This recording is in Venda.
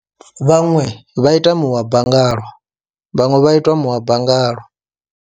Vhaṅwe vha ita muhaba ngalo, vhaṅwe vha itwa muhaba ngalo.